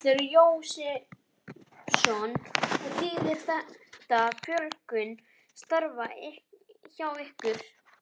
Þórhallur Jósefsson: Og þýðir þetta fjölgun starfa hjá ykkur?